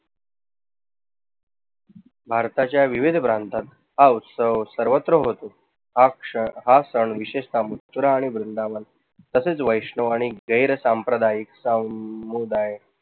भारताच्या विविध भ्रांतात हा उत्सव सर्वत्र होतो. हा क्षण आजकाल विशेषतः मथुरा आणि वृंदावनात तसेच वैष्णव आणि जैन साम्प्रदाईक सामुदाय